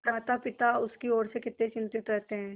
मातापिता उसकी ओर से कितने चिंतित रहते हैं